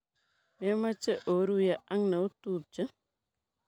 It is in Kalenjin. Memeche iruye ak neotupche?